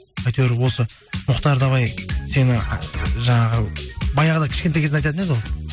әйтеуір осы мұхтар давай сені жаңағы баяғыда кішкентай кезінде айтатын еді ғой